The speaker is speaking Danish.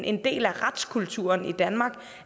en del af retskulturen i danmark